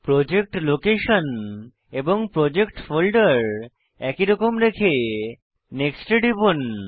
project location এবং project ফোল্ডের একই রকম রেখে নেক্সট এ টিপুন